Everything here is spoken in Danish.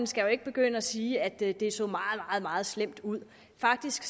skal jo ikke begynde at sige at det det så meget meget slemt ud faktisk